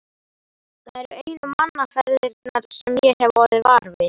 Það eru einu mannaferðirnar sem ég hef orðið var við.